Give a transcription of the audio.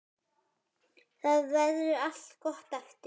Þá verður allt gott aftur.